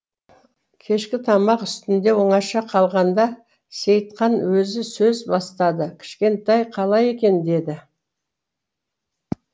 кешкі тамақ үстінде оңаша қалғанда сейтқан өзі сөз бастады кішкентай қалай екен деді